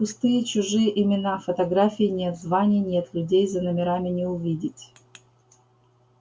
пустые чужие имена фотографий нет званий нет людей за номерами не увидеть